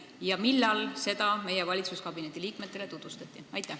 Kui on, siis millal seda valitsuskabineti liikmetele tutvustati?